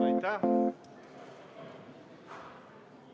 Võime.